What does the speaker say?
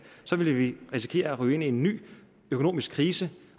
ville vi risikere at ryge ind i en ny økonomisk krise